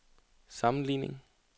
sammenligning